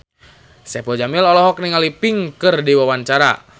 Saipul Jamil olohok ningali Pink keur diwawancara